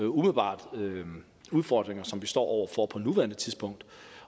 umiddelbare udfordringer som vi står over for på nuværende tidspunkt